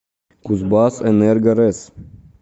кузбассэнерго рэс